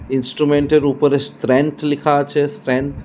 Instrument এর উপরে strength লিখা আছে স্ট্রেন্থ ।